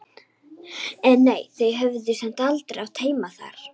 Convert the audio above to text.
En nei, þau höfðu samt aldrei átt heima þar.